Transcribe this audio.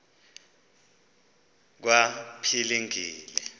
kwaphilingile